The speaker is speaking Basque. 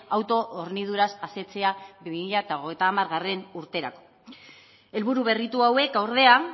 auto horniduraz asetzea bi mila hogeita hamargarrena urterako helburu berritu hauek ordea